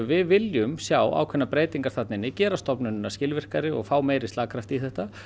við viljum sjá ákveðnar breytingar þarna inni gera stofnunina skilvirkari og fá meiri slagkraft í þetta